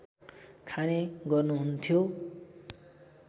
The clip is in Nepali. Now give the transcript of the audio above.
खाने गर्नुहुन्थ्यो